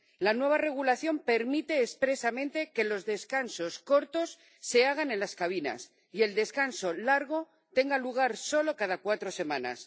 La nueva regulación permite expresamente que los descansos cortos se hagan en las cabinas y el descanso largo tenga lugar solo cada cuatro semanas.